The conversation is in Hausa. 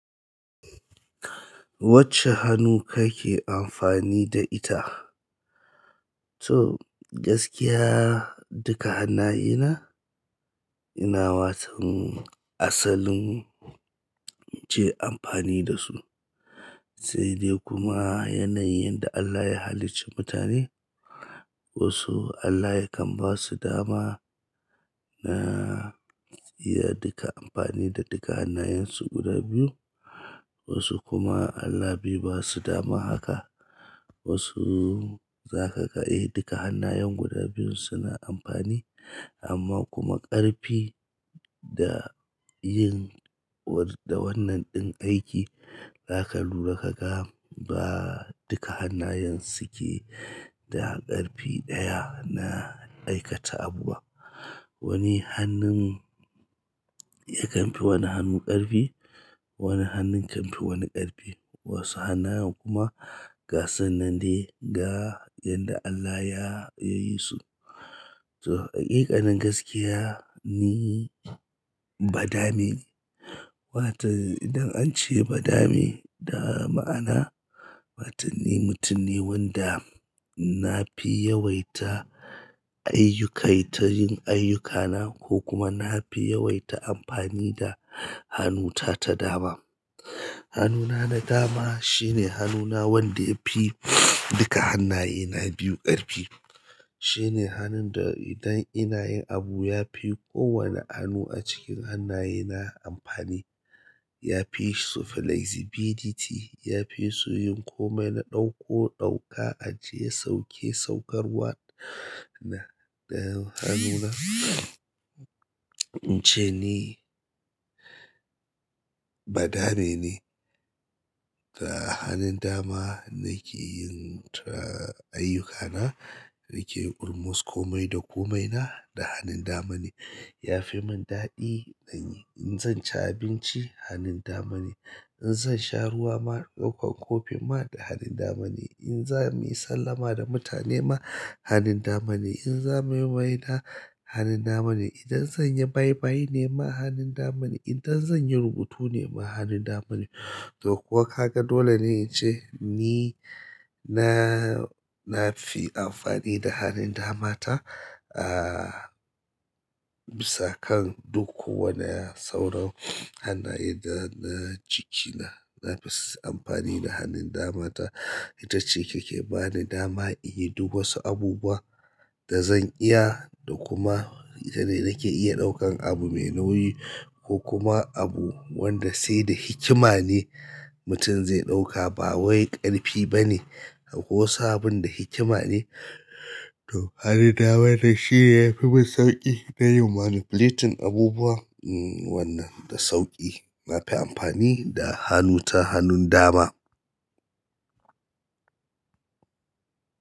Wacce hannu kake amfani da ita? To gaskiya duka hannayena ina watan asalin in ce amfani da su. Sai dai kuma yanayin yanda Allah ya halicci mutane wasu Allah yakan basu dama na su iya duka amfani da duka hannayensu guda biyu wasu kuma Allah bai ba su damar haka. Wasu za ka ga eh duka hannayen guda biyun suna amfani amma kuma ƙarfi da yin da wannan ɗin aiki zaka lura kaga ba duka hannayen suke da ƙarfi ɗaya na aikata abu ba. Wani hannun yakan fi wani hannu ƙarfi, wani hannun kan fi wani ƙarfi wasu hannayen kuma gasu nan dai da yadda Allah ya yi su. To haƙiƙanin gaskiya ni badame ne watan idan an ce badame da ma'ana watan ni mutum ne wanda nafi yawaita ayyukai ta yin ayyukana ko kuma na fi yawaita amfani da hannunta ta dama. Hannuna na dama shine hannuna wanda ya fi duka hannayena biyu ƙarfi. Shine hannun da idan ina yin abu yafi kowane hannu a cikin hannayena amfani. Yafi su flexibility, yafi su yin komai na ɗauko ɗauka ajiye sauke saukarwa na, na hannuna. Ince ni badame ne. Da hannun dama nake yin tra ayyukana, nake almost komai da komaina da hannun dama ne. Yafi mon daɗi in zan ci abinci hannun dama ne, in zan sha ruwa ma ɗaukan kofi ma da hannun dama ne, in za muyi sallama da mutane ma hannun dama ne, in za muyi maina hannun dama ne, idan zan yi bye bye ne ma hannun dama ne, idan zan yi rubutu ne ma hannun dama ne. Toh kuwa kaga dole ne ince ni na nafi amfani da hannun dama ta a bisa kan duk kowane sauran hannaye da na jikina nafi amfani da hannun dama ta. Ita ce ke ke bani dama in yi duk wasu abubuwa da zan iya da kuma ita ne nake iya ɗaukan abu mai nauyi ko kuma abu wanda sai da hikima ne mutum zai ɗauka ba wai ƙarfi bane. Wasu abun da hikima ne. To hannun dama shine yafi mun sauƙi na yin manipulating abubuwa wannan da sauƙi. Na fi amfani da hannunta hannun dama.